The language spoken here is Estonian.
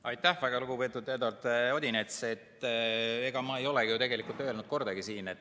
Aitäh, väga lugupeetud Eduard Odinets!